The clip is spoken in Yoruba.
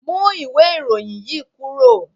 Mú ìwé ìròyìn yí kúrò.